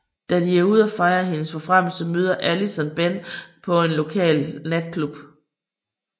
Da de er ude og fejrer hendes forfremmelse møder Allison Ben på en lokal natklub